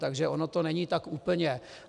Takže ono to není tak úplně.